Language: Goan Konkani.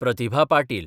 प्रतिभा पाटील